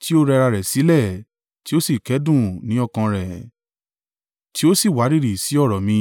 tí ó rẹra rẹ̀ sílẹ̀ tí ó sì kẹ́dùn ní ọkàn rẹ̀, tí ó sì wárìrì sí ọ̀rọ̀ mi.